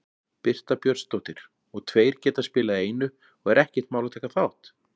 Birta Björnsdóttir: Og tveir geta spilað í einu og er ekkert mál að taka þátt?